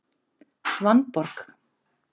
Svanborg